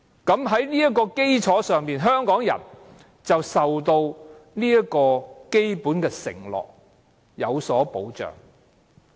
在這個基礎上，香港人獲得基本的承諾，有所保障。